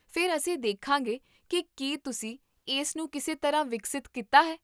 ਫਿਰ ਅਸੀਂ ਦੇਖਾਂਗੇ ਕੀ ਕੀ ਤੁਸੀਂ ਇਸ ਨੂੰ ਕਿਸੇ ਤਰ੍ਹਾਂ ਵਿਕਸਿਤ ਕੀਤਾ ਹੈ